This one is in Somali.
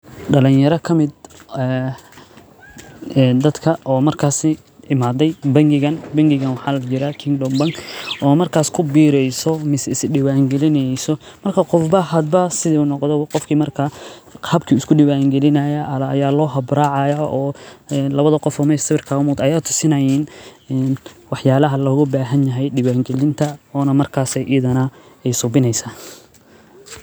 Dalanyara kamid dadka oo markaa imaaday bangigaan, bangigaan waxaa layirahdaa Kingdom bank oo markaas kubiireyso mise is diwaan gilineyso marka qofba hada siduu noqdaba qofki markaa habki uu isku diwaan gilinaayaa aa loo hab raacaayaa. Lawada qof oo mesha sawirka kaaga muuqata ayaa tusinaayaan wax yaalaha looga baahanyahay diwaan gilinta oo markaas idana aay suubineysaa